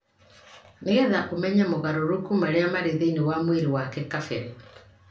nĩ getha ũmenye mogarũrũku marĩa marĩ thĩinĩ wa mwĩrĩ wake kabere.